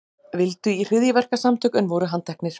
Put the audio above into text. Vildu í hryðjuverkasamtök en voru handteknir